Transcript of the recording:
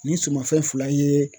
Nin sumafɛn fila ye